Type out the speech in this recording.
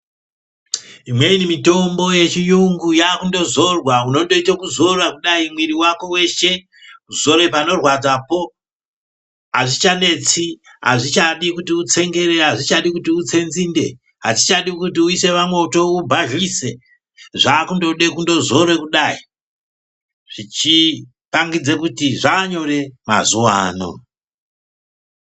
Imweni mitombo yechiyungu yakundozorwa. Unondoite kuzora kudai, mwiri wako weshe, kuzore panorwadzapo, azvichanetsi, azvichadi kuti utsengere, azvichadi kuti utse nzinde, azvichadi kuti uise pamoto ubhadhlise, zvakundode kundozora kudai, zvichipangidze kuti zvaanyore mazuva ano.